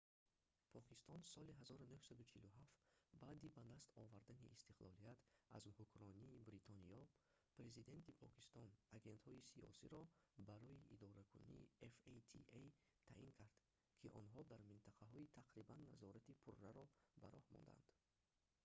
покистон соли 1947 баъди ба даст овардани истиқлолият аз ҳукмронии бритониё президенти покистон агентҳои сиёсӣ"-ро барои идоракунии fata таъин кард ки онҳо дар минтақаҳо тақрибан назорати пурраро ба роҳ мондаанд